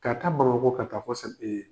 Ka taa Bamakɔ ka taa fo se